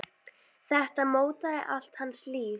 Þetta mótaði allt hans líf.